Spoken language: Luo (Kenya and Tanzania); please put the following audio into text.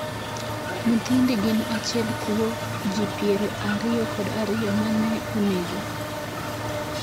nyithindi gin achiel kuo ji piero ariyo kod ariyo ma ne onegi